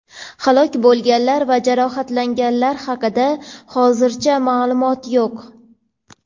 Halok bo‘lganlar va jarohatlanganlar haqida hozircha ma’lumot yo‘q.